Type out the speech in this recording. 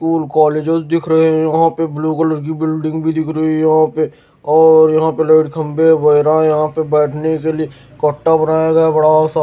school colleges दिख रहे हैं यहां पे ब्लू कलर की बिल्डिंग भी दिख रही है यहां पे और यहां पे लाइट खंभे वायरा यहां पे बैठने के लिए कट्टा बनाया गया है बड़ा सा --